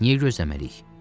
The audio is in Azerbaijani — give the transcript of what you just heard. Niyə gözləməliyik?